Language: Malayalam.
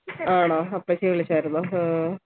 ആണോ അപ്പച്ചി വിളിച്ചായർന്നോ ആഹ്